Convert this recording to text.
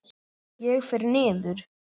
Ég fer niður.